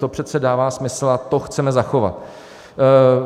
To přece dává smysl a to chceme zachovat.